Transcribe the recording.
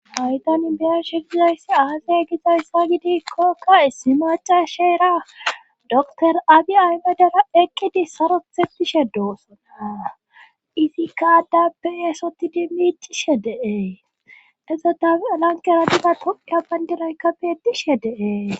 Hay tan biyanshe gizayssi aazaya gizayssa gidikkokka issi maca sheera dotor adi aymedera eqqidi sarothetishe doosona izikkaadda beyeesoti dimmicishe deee edzoda alankeradira toka bayndiraykka beedishe de'ees.